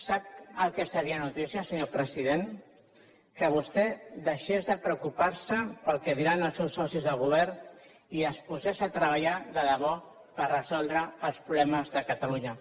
sap el que seria notícia senyor president que vostè deixés de preocuparse pel que diran els seus socis de govern i es posés a treballar de debò per resoldre els problemes de catalunya